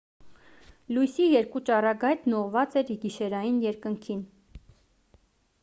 լույսի երկու ճառագայթն ուղղված էր գիշերային երկնքին